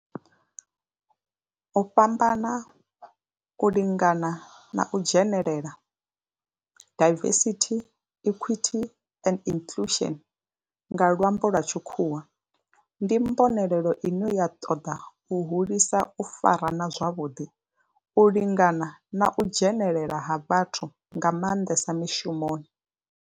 U fhambana, u lingana na u dzhenelela diversity, equity and inclusion nga lwambo lwa tshikhuwa ndi mbonelelo ine ya toda u hulisa u farana zwavhuḓi, u lingana na u dzhenelela ha vhathu nga manḓesa mishumoni.